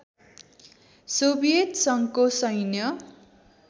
Soviet सङ्घको सैन्य